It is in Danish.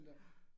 Ja